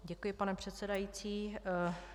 Děkuji, pane předsedající.